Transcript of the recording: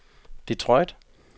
Detroit